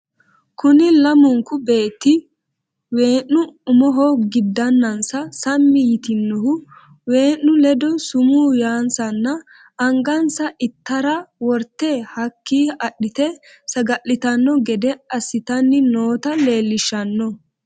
Kunni lamunku beetti we'nu umoho gidanansa sammi yitinnohu we'nu ledo sumu yaanssanna angansa ittaare worte hakki adhite saga'litano gede assitanni nootta leellishshanno.